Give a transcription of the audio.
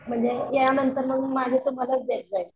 म्हणजे यांनतर मग तुम्हालाच देत जाईन